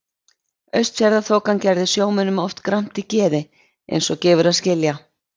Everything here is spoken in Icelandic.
Austfjarðaþokan gerði sjómönnum oft gramt í geði eins og gefur að skilja.